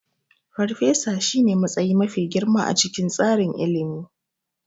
Farfesa shine matsayi mafi girma a cikin tsarin ilimi.